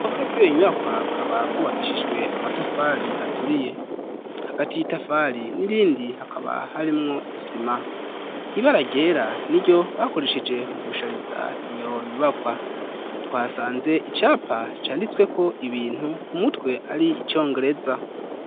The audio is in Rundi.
Uruhome rw'iyo nyubakwa rukaba gubakishijwe amatafari aturiye hagati y'itafari n'irindi hakaba harimwo isima ibara ryera n'iryo bakoresheje mu gushariza iyo nyubakwa twasanze icyapa cyanditswe ko ibintu ku mutwe ari icongereza.